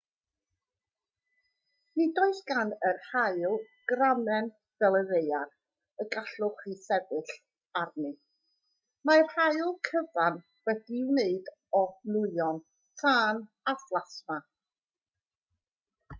nid oes gan yr haul gramen fel y ddaear y gallwch chi sefyll arni mae'r haul cyfan wedi'i wneud o nwyon tân a phlasma